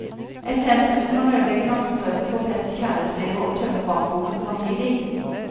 Et tempel som kan ødelegge nattesøvnen, forpeste kjærlighetslivet og tømme bankboken samtidig.